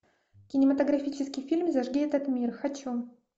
кинематографический фильм зажги этот мир хочу